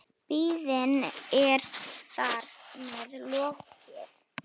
Biðinni er þar með lokið.